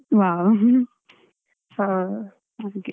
ವಾಹ್ ಹಾ ಹಾಗೆ.